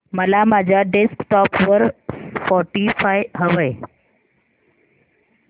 मला माझ्या डेस्कटॉप वर स्पॉटीफाय हवंय